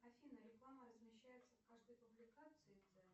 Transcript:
афина реклама размещается в каждой публикации